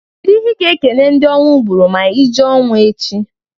Kedu ihe i ga e kene ndị ọnwụ gbuuru ma i jee n'ọnwụ echi?